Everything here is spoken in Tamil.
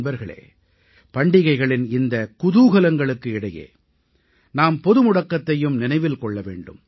நண்பர்களே பண்டிகைகளின் இந்தக் குதூகலங்களுக்கு இடையே நாம் பொது முடக்கத்தையும் நினைவில் கொள்ள வேண்டும்